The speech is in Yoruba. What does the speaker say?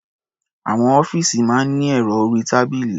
Àwọn ọ́fíìsì máa ní ẹ̀rọ orí-tábìlì.